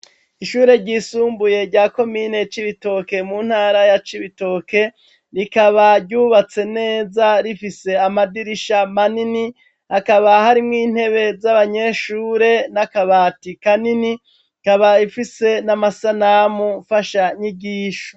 Ishure ryisumbuye rya komine Cibitoke mu ntara ya Cibitoke rikaba ryubatse neza rifise amadirisha manini akaba harimwo intebe z'abanyeshure n'akabati kanini ikaba ifise n'amasanamu mfashanyigisho.